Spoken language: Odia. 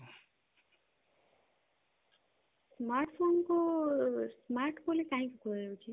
smartphone କୁ smart ବୋଲି କାହିଁକି କୁହାଯାଉଛି